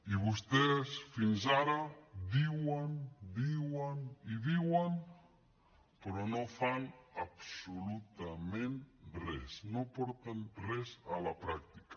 i vostès fins ara diuen diuen i diuen però no fan absolutament res no porten res a la pràctica